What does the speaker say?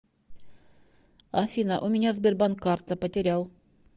афина у меня сбербанк карта потерял